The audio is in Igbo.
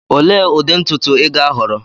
Olee ụdị ntutu ị ga-ahọrọ?